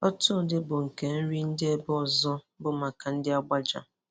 otu ụdị bụ nke ndị Nri ebe nke ọzọ bụ maka ndị Agbaja.